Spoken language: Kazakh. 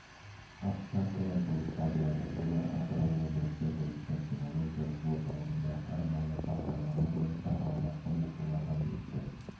овчаркалар болып табылады олар атырау облысы бойынша кинологиялық орталығында арнайы бағдарлама бойынша алғашқы оқулардан өтті